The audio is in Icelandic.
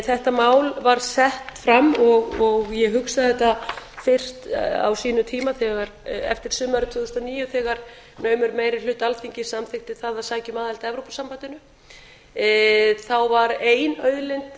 þetta mál var sett fram og ég hugsaði þetta fyrst á sínum tíma eftir sumarið tvö þúsund og níu þegar naumur meiri hluti alþingis samþykkti það að sækja um aðild að evrópusambandinu þá var ein auðlind